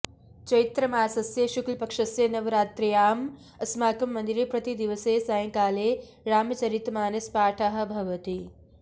चैत्रमासस्य शुक्लपक्षस्य नवरात्र्याम् अस्माकं मन्दिरे प्रतिदिवसे सायंकाले रामचरितमानसपाठः भवति